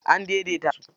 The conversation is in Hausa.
An daidaita su.